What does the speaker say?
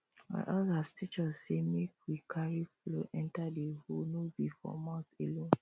our elders teach us say make we carry flow enter the hoe no be for mouth alone